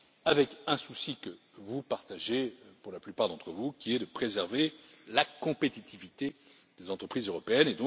avec un souci que vous partagez pour la plupart d'entre vous, qui est de préserver la compétitivité des entreprises européennes.